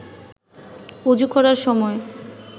অযু করার সময়